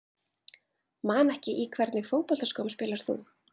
Man ekki Í hvernig fótboltaskóm spilar þú?